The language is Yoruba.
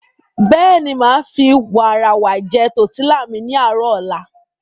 Bẹ́ẹ̀ni, màá fi wààràwà jẹ tọ̀tílà mi ní àárò ọ̀la.